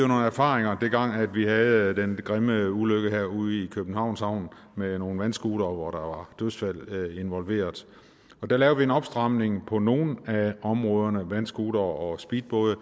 nogle erfaringer dengang vi havde den grimme ulykke herude i københavns havn med nogle vandscootere hvor der var dødsfald og der lavede vi en opstramning på nogle af områderne vandscootere og speedbåde